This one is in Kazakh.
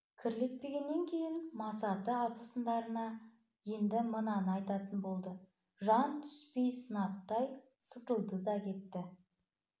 кірлетпегеннен кейін масаты абысындарына енді мынаны айтатын болды жан түспей сынаптай сытылды да кетті